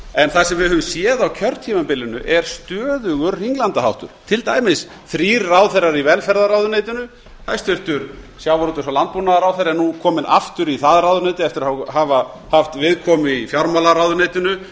en það sem við höfum séð á kjörtímabilinu er stöðugur hringlandaháttur til dæmis þrír ráðherrar í velferðarráðuneytinu hæstvirtum sjávarútvegs og landbúnaðarráðherra er nú kominn aftur í það ráðuneyti eftir að hafa haft viðkomu í fjármálaráðuneytinu